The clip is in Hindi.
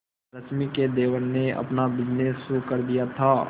रश्मि के देवर ने अपना बिजनेस शुरू कर दिया था